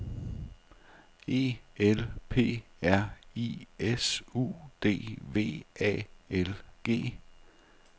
E L P R I S U D V A L G